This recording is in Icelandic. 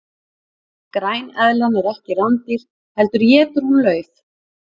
græneðlan er ekki rándýr heldur étur hún lauf